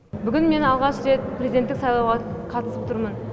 бүгін мен алғаш рет президенттік сайлауға қатысып тұрмын